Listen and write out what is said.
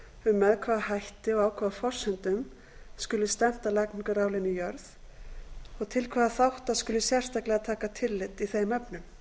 um með hvaða hætti og á hvaða forsendum skuli stefnt að lagningu raflína í jörð og til hvaða þátta skuli sérstaklega taka tillit í þeim efnum